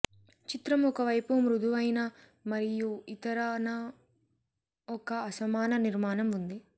చిత్రం ఒక వైపు మృదువైన మరియు ఇతర న ఒక అసమాన నిర్మాణం ఉంది